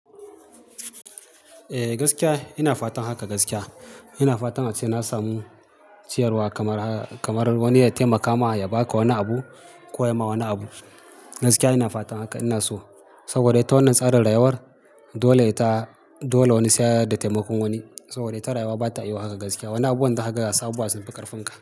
Eh gaskiya ina fatan haka gaskiya. Ina fatan ma sai na samu ciyarwa kamar, kamar wani ya taimaka ma ya ba ka wani abu ko ya ma wani abu. Gaskiya ina fatan haka ina so saboda ita wannan tsarin rayuwar dole ita, dole wani sai ya yarda taimakon wani. Saboda ita rayuwa bata iya haka gaskiya. Wani abu zaka ga haka gaza abubuwa sun ƙarfin ka.